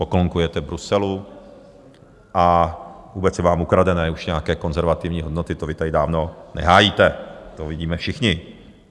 Poklonkujete Bruselu a vůbec jsou vám ukradené už nějaké konzervativní hodnoty, to vy tady dávno nehájíte, to vidíme všichni.